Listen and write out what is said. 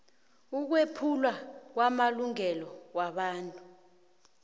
ukwephulwa kwamalungelo wobuntu